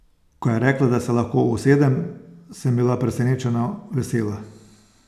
Ko je rekla, da se lahko usedem, sem bila presenečeno vesela.